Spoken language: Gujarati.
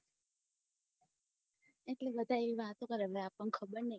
એટલે બધા એવી વાતો કરે હવે આપને ખબર નઈ